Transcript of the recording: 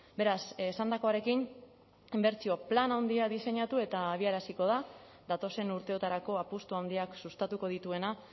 beraz esandakoarekin inbertsio plan handia diseinatu eta abiaraziko da datozen urteotarako apustu handiak sustatuko dituena